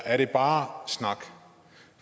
er det bare snak